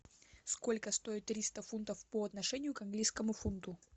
сколько стоит триста фунтов по отношению к английскому фунту